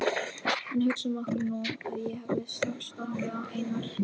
En hugsum okkur nú að ég hefði strax stokkið á Einar